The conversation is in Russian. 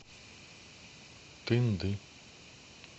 тынды